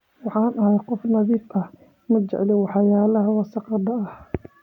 Waxaan ahay qof nadiif ah, ma jecli waxyaalaha wasakhda ah.